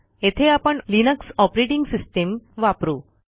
येथे आपण Linux operating system वापरू